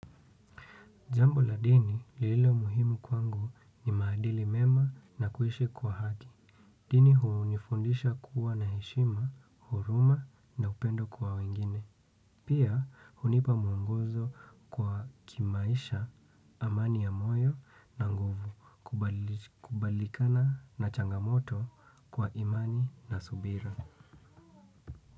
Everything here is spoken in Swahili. Jambo la dini lililo muhimu kwangu ni maadili mema na kuhishi kwa haki. Dini hunifundisha kuwa na heshima, huruma na upendo kwa wengine. Pia hunipa mwongozo kwa kimaisha, amani ya moyo na nguvu kubalikana na changamoto kwa imani na subira.